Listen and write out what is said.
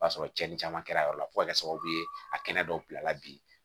O b'a sɔrɔ cɛnnin caman kɛra a la fo ka kɛ sababu ye a kɛnɛ dɔw bila la bi